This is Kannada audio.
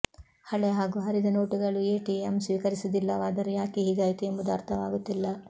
ಹಳೆ ಹಾಗೂ ಹರಿದ ನೋಟುಗಳು ಎಟಿಎಂ ಸ್ವೀಕರಿಸುವುದಿಲ್ಲವಾದರೂ ಯಾಕೆ ಹೀಗಾಯಿತು ಎಂಬುದು ಅರ್ಥವಾಗುತ್ತಿಲ್ಲ